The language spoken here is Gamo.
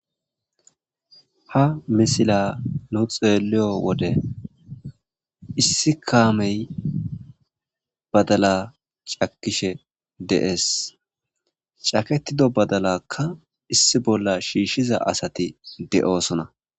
ha misila nu xeliyo wode issi kaamey badala cakishe dees caketido badalakka issi bolla shiishshiza asati de7oosona